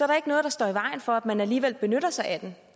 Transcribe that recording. der ikke noget der står i vejen for at man alligevel benytter sig af den